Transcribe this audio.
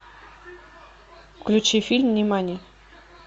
включи фильм нимани